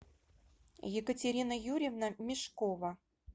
екатерина юрьевна мешкова